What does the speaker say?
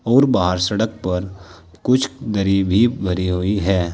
और बाहर सड़क पर कुछ दरी भी भरी हुई है।